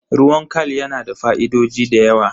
Ruwan khal yana da fa'idoji da yawa.